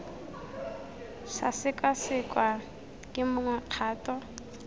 sa sekasekwa ke mongwe kgato